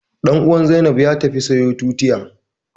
Ɗan'uwan Zainab ya tafi sayo tutiya